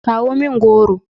kawo min goro!